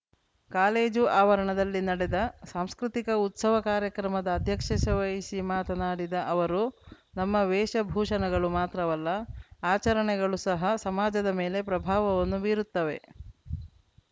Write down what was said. college ಆವರಣದಲ್ಲಿ ನಡೆದ ಸಾಂಸ್ಕೃತಿಕ ಉತ್ಸವ ಕಾರ್ಯಕ್ರಮದ ಅಧ್ಯಕ್ಷಶೆಶೆ ವಹಿಸಿ ಮಾತನಾಡಿದ ಅವರು ನಮ್ಮ ವೇಷಭೂಷಣಗಳು ಮಾತ್ರವಲ್ಲ ಆಚರಣೆಗಳು ಸಹ ಸಮಾಜದ ಮೇಲೆ ಪ್ರಭಾವವನ್ನು ಬೀರುತ್ತವೆ